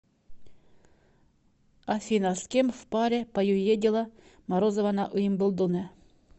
афина с кем в паре поюедила морозова на уимблдоне